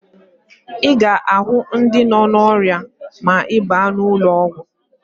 Ị ga-ahụ ndị nọ n'ọrịa ma ị baa n'ụlọọgwụ